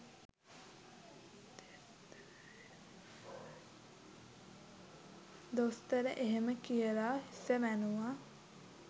දොස්තර එහෙම කියලා හිස වැනුවා.